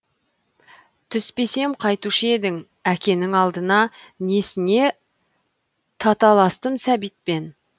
түспесем қайтушы ед әкенің алдына несіне таталастым сәбитпен